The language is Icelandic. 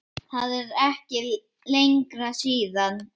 Það er ekki lengra síðan!